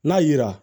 N'a yera